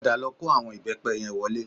Padà lọ kó àwọn ìbẹ́pẹ yẹn wọlé